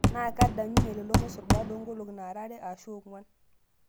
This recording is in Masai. Naa kedanyunye lelo mosorr baada oo nkolong'i naa are ashuu ong'uan.